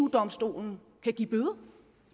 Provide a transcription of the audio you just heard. domstolen kan give bøder